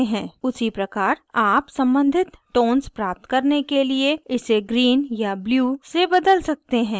उसी प्रकार आप सम्बंधित tones प्राप्त करने के लिए इसे green या blue से बदल सकते हैं